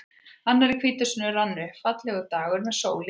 Annar í hvítasunnu rann upp, fallegur dagur með sól í heiði.